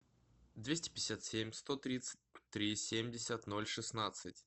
двести пятьдесят семь сто тридцать три семьдесят ноль шестнадцать